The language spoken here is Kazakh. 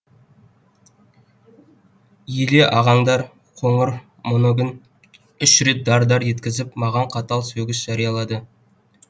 еле ағаңдар қоңыр моногін үш рет дар дар еткізіп маған қатал сөгіс жариялады